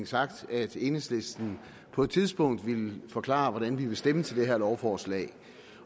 sagt at enhedslisten på et tidspunkt ville forklare hvordan vi vil stemme til det her lovforslag